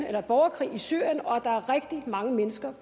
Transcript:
er borgerkrig i syrien og at rigtig mange mennesker